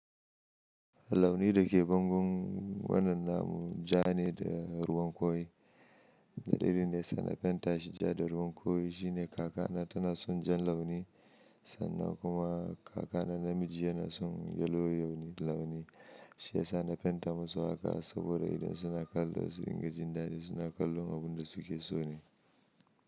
Launi da ke bangun wannan namu ja ne da ruwan koyi. Dalilin da ya sa na fenta shi ja da ruwan koyi shine kakana tana son jan launi sannan kuma kakana namiji yana son yellow launi. Shi ya sa na fenta masu haka saboda idan suna kallo su dinga jin dadi suna kallon abin da suke so ne.